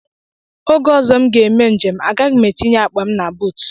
Oge ọzọ m ga-eme njem, agaghị m etinye akpa m na buut.